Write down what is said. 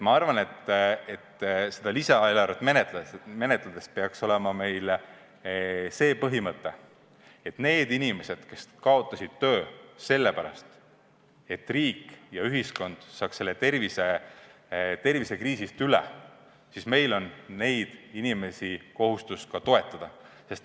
Ma arvan, et seda lisaeelarvet menetledes peaks meil olema põhimõte, et meil on kohustus toetada inimesi, kes kaotasid töö sellepärast, et riik ja ühiskond peavad tervisekriisist üle saama.